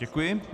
Děkuji.